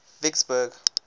vicksburg